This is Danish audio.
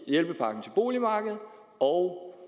boligpakke og